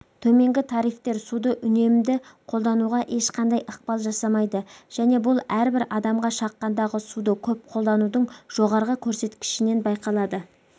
төменгі тарифтер суды үнемді қолдануға ешқандай ықпал жасамайды және бұл әрбір адамға шаққандағы суды көп қолданудың жоғарғы көрсеткішінен байқалады